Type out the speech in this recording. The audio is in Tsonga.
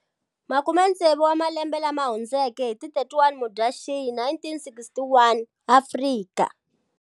Makumetsevu wa malembe lama hundzeke, hi ti 31 Mudyaxihi 1961, Afrika.